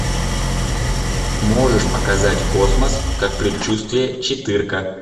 можешь показать космос как предчувствие четырка